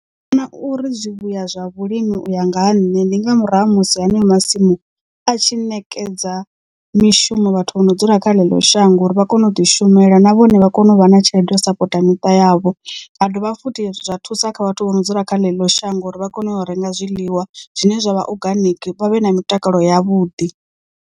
Ndi vhona uri zwi vhuya zwa vhulimi uya nga ha nṋe ndi nga murahu ha musi haneyo masimu a tshi ṋekedza mishumo vhathu vho no dzula kha ḽeḽo shango uri vha kone u ḓi shumela na vhone vha vha kone u vha na tshelede sapota miṱa yavho ha dovha futhi zwa thusa kha vhathu vho no dzula kha ḽeḽo shango uri vha kone u renga zwiḽiwa zwine zwavha oganiki vha vhe na mitakalo ya vhuḓi.